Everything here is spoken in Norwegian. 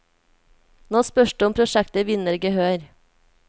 Nå spørs det om prosjektet vinner gehør.